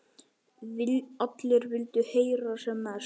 Allir vildu heyra sem mest.